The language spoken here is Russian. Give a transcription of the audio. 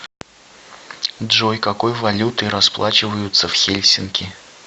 джой какой валютой расплачиваются в хельсинки